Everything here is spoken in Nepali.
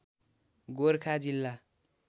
गोरखा जिल्ला